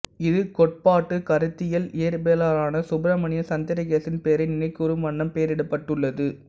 இது கோட்பாட்டு கருத்தியல் இயற்பியலாளரான சுப்பிரமணியன் சந்திரசேகரின் பெயரை நினைகூரும் வண்ணம் பெயரிடப்பட்டுள்ளது